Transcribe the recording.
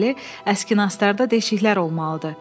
Deməli, əski nastlarda deşiklər olmalıdır.